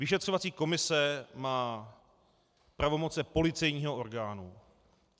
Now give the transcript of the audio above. Vyšetřovací komise má pravomoci policejního orgánu.